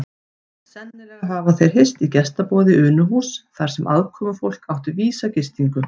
Sennilega hafa þeir hist í gestaboði Unuhúss þar sem aðkomufólk átti vísa gistingu.